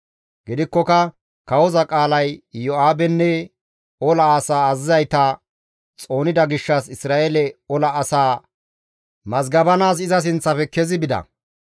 Gidikkoka kawoza qaalay Iyo7aabenne ola asaa azazizayta xoonida gishshas Isra7eele ola asaa mazgabanaas iza sinththafe kezi bida.